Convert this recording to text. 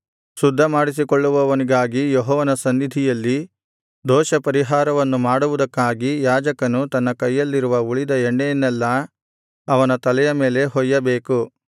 ಶುದ್ಧ ಮಾಡಿಸಿಕೊಳ್ಳುವವನಿಗಾಗಿ ಯೆಹೋವನ ಸನ್ನಿಧಿಯಲ್ಲಿ ದೋಷಪರಿಹಾರವನ್ನು ಮಾಡುವುದಕ್ಕಾಗಿ ಯಾಜಕನು ತನ್ನ ಕೈಯಲ್ಲಿರುವ ಉಳಿದ ಎಣ್ಣೆಯನ್ನೆಲ್ಲಾ ಅವನ ತಲೆಯ ಮೇಲೆ ಹೊಯ್ಯಬೇಕು